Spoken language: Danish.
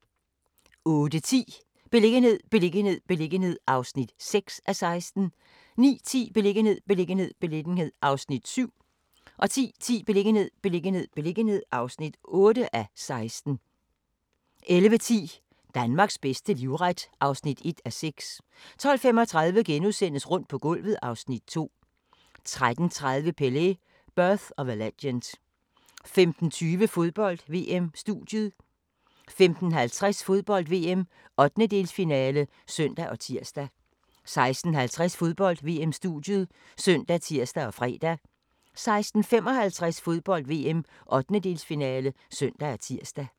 08:10: Beliggenhed, beliggenhed, beliggenhed (6:16) 09:10: Beliggenhed, beliggenhed, beliggenhed (7:16) 10:10: Beliggenhed, beliggenhed, beliggenhed (8:16) 11:10: Danmarks bedste livret (1:6) 12:35: Rundt på gulvet (Afs. 2)* 13:30: Pelé: Birth of a Legend 15:20: Fodbold: VM-studiet 15:50: Fodbold: VM - 1/8-finale (søn og tir) 16:50: Fodbold: VM-studiet ( søn, tir, fre) 16:55: Fodbold: VM - 1/8-finale (søn og tir)